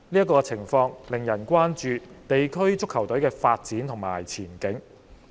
該情況令人關注地區足球隊的發展和前景。